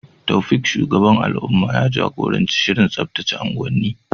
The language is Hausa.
Taofiq, shugaban al’umma, ya jagoranci shirin tsaftace unguwanni.